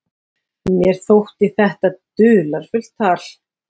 Mér þótti þetta dularfullt tal.